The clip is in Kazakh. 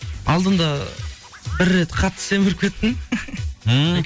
алдында бір рет қатты семіріп кеттім ммм